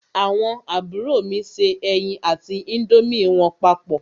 Àwọn àbúrò mi se ẹyin àti índómì wọn papọ̀.